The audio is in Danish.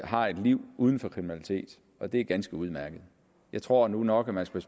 har et liv uden for kriminalitet og det er ganske udmærket jeg tror nu nok at man skal